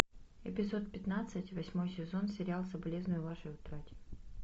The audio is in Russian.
эпизод пятнадцать восьмой сезон сериал соболезную вашей утрате